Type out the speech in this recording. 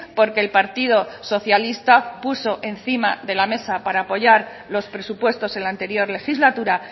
porque el partido socialista puso encima de la mesa para apoyar los presupuestos en la anterior legislatura